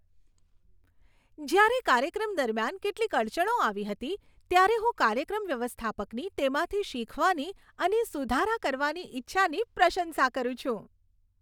જ્યારે કાર્યક્રમ દરમિયાન કેટલીક અડચણો આવી હતી, ત્યારે હું કાર્યક્રમ વ્યવસ્થાપકની તેમાંથી શીખવાની અને સુધારા કરવાની ઇચ્છાની પ્રશંસા કરું છું.